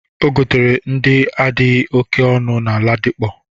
O gotere ndị adịghị oke ọnụ na Ladipo.